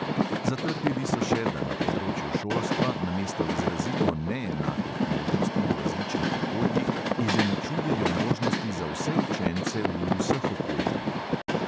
Zatrdili so še, da na področju šolstva namesto izrazito neenakih možnosti v različnih okoljih izenačujejo možnosti za vse učence v vseh okoljih.